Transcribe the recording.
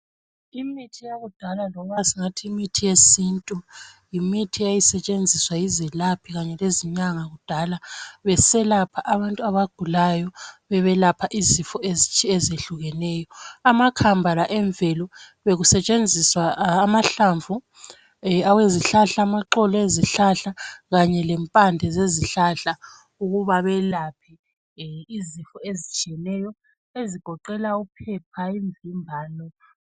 imithi yakudala loba singathi imithi yesintu yimithi eyayisetshenziswa yizelaphi kanye lezinyanga kudala beselapha abantu abagulayo bebelapha izifo ezehlukeyo amakhamba la emvelo bekusetshenziswa amahlamvu awezihlahla amaxolo ezihlahla kanye lempande zezihlahla ukuba belaphe izifo ezitshiyeneyo ezigoqela uphepha imvimbano